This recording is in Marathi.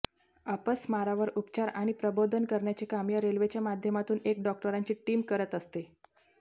अपस्मारावर उपचार आणि प्रबोधन करण्याचे काम या रेल्वेच्या माध्यमातून एक डॉक्टरांची टीम करत असते